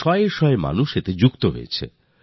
শত শত লোককে এর মধ্যে যুক্ত করা হল